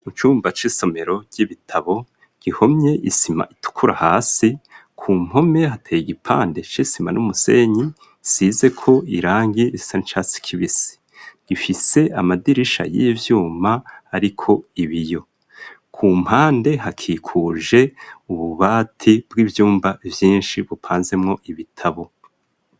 Mu cumba c'isomero ry'ibitabo gihomye isima itukura hasi ku mpome hateye igipande ch'isima n'umusenyi size ko irangi sanchas kbis gifise amadirisha y'ivyuma ariko ibiyo ku mpande hakikuje ububati bw'ibyumba byinshi bupanzemwo ibitabo.